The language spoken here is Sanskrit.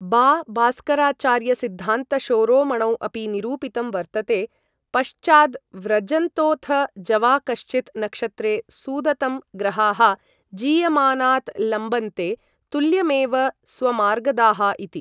बा बास्कराचार्यसिद्धान्तशोरोमणौ अपि निरूपितं वर्तते पश्चाद्व्रजन्तोथ जवा कश्चित् नक्षत्रे सुदतं ग्रहाः जीयमानात् लम्बन्ते तुल्यमेव स्वमार्गदाः इति ।